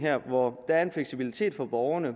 hvor der er en fleksibilitet for borgerne